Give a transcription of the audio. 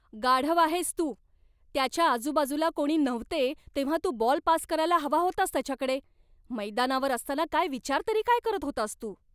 गाढव आहेस तू. त्याच्या आजूबाजूला कोणी नव्हते तेव्हा तू बॉल पास करायला हवा होतास त्याच्याकडे. मैदानावर असताना काय विचार तरी काय करत होतास तू?